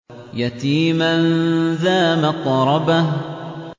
يَتِيمًا ذَا مَقْرَبَةٍ